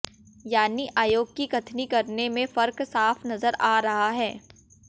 यानी आयोग की कथनी करनी में फर्क साफ नजर आ रहा है